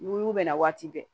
N'u y'u bɛnna waati bɛɛ